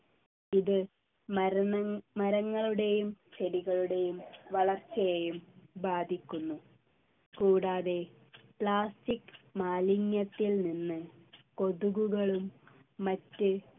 ഇത് മരന്നങ് മരങ്ങളുടെയും ചെടികളുടെയും വളർച്ചയെയും ബാധിക്കുന്നു കൂടാതെ plastic മാലിന്യത്തിൽ നിന്ന് കൊതുകുകളും മറ്റ്